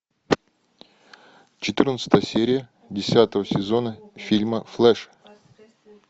четырнадцатая серия десятого сезона фильма флэш